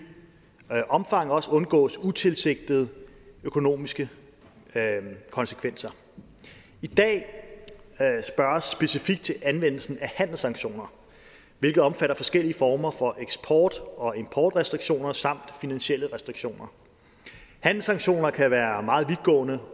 omfang også undgås utilsigtede økonomiske konsekvenser i dag spørges specifikt til anvendelsen af handelssanktioner hvilket omfatter forskellige former for eksport og importrestriktioner samt finansielle restriktioner handelssanktioner kan være meget vidtgående